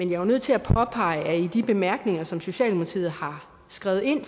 jo nødt til at påpege at i de bemærkninger som socialdemokratiet har skrevet ind